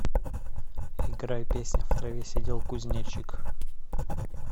играй песня в траве сидел кузнечик